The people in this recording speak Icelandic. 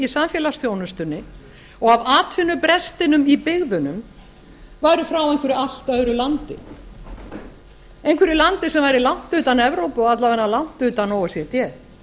samfélagsþjónustunni og af atvinnubrestinum í byggðunum væru frá einhverju allt öðru landi einhverju landi sem væri langt utan evrópu og alla vega langt utan o e c d